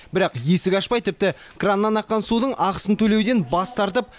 бірақ есік ашпай тіпті краннан аққан судың ақысын төлеуден бас тартып